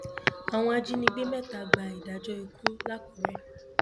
àwọn ajínigbé mẹta gba ìdájọ ikú làkúrẹ